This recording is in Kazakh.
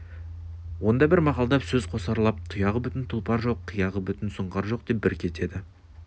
онда бос мақалдап сөз қосарлап тұяғы бүтін тұлпар жоқ қияғы бүтін сұңқар жоқ деп бір кетеді